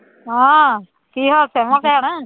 ਹਾਂ ਕੀ ਹਾਲ ਚਾਲ ਮੁਸਕਾਨ